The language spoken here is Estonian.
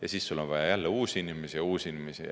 Ja siis on vaja jälle uusi inimesi ja uusi inimesi.